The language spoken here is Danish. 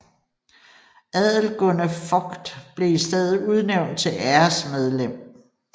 Adelgunde Vogt blev i stedet udnævnt til æresmedlem